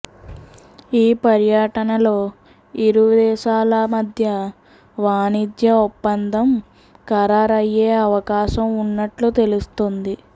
ఈ పర్యటనలో ఇరు దేశాల మధ్య వాణిజ్య ఒప్పందం ఖరారయ్యే అవకాశం ఉన్నట్లు తెలుస్తోంది